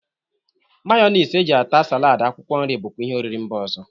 Mayọnis e ji ata salaadị akwụkwọ nri bụkwa ihe oriri mba ọzọ.